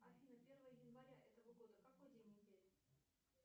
афина первое января этого года какой день недели